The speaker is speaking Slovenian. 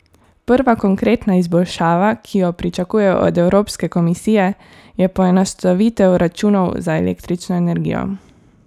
Prva konkretna izboljšava, ki jo pričakujejo od Evropske komisije, je poenostavitev računov za električno energijo.